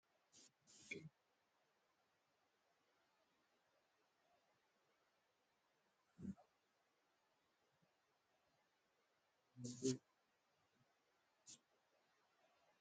Abaaboo diimtuu baay'ee ol hin guddanneefi firii baay'ee hin godhannedha. Baalli isaa magariisa kan ta'eefi baay'atee kan jirudha. Biyyoon inni irratti guddates biyyoo diimaa gabbataadha. Abaaboon kun naannoo kamitti argamaa?